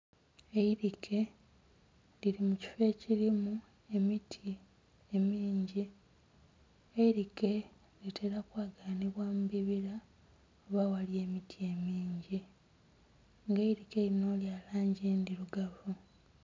Eirike liri mukifoo ekirimu emiti emingi, eirike litera kwaganibwa mubibira oba aghali emiti emingi nga eirike lino liri mulangi endhirugavu.